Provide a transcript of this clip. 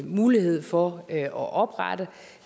mulighed for at oprette